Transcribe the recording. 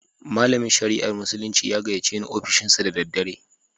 Malamin shari'ar musulunci ya gayyace ni ofishinsa da daddare.